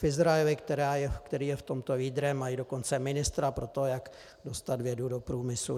V Izraeli, který je v tomto lídrem, mají dokonce ministra pro to, jak dostat vědu do průmyslu.